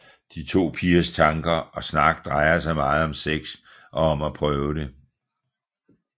De to pigers tanker og snak drejer sig meget om sex og om at prøve det